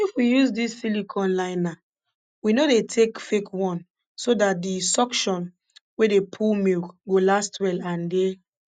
if we use dis silicone liner we no dey take fake one so dat di suction wey dey pull milk go last well and dey